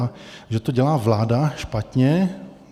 A že to dělá vláda špatně.